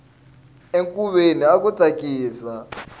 encuveni aku tsakisa